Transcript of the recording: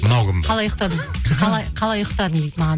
мынау кім ба қалай ұйықтадың қалай ұйықтадың дейді маған